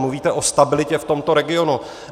Mluvíte o stabilitě v tomto regionu.